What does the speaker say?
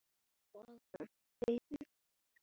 Geturðu útskýrt það?